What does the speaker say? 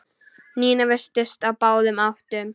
Nína virtist á báðum áttum.